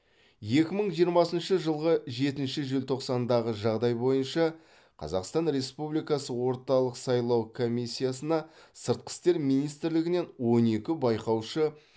екі мың жиырмасыншы жылғы жетінші желтоқсандағы жағдай бойынша қазақстан республикасы орталық сайлау комиссиясына сыртқы істер министрлігінен он екі байқаушы